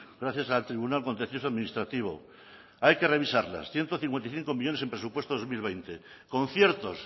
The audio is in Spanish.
gracias al tribunal contencioso administrativo hay que revisarlas ciento cincuenta y cinco millónes en presupuestos dos mil veinte conciertos